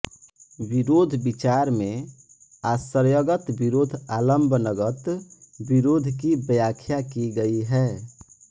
विरोध विचार में आश्रयगत विरोध आलम्बनगत विरोध की व्याख्या की गई है